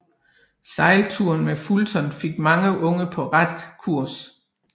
Sejlturen med Fulton fik mange unge på ret kurs